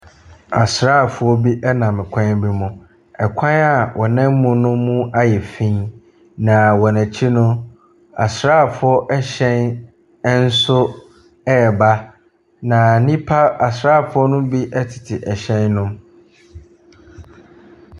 Asraafoɔ bi nam twam bi mu. Kwan a wɔnam mu no mu ayɛ fi, na wɔn akyi no, asraafoɔ hyɛ nso reba. Na nnipa asraafoɔ no bi tete ɛhyɛn no mu.